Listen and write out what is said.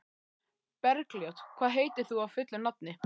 Bergljót, hvað heitir þú fullu nafni?